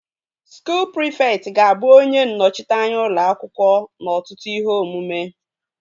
Skuul prịfekt ga-abụ onye nnọchiteanya ụlọ akwụkwọ n'ọtụtụ ihe omume